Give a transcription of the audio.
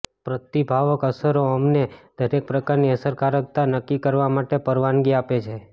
પ્રતિભાવક અસરો અમને દરેક પ્રકારની અસરકારકતા નક્કી કરવા માટે પરવાનગી આપે છે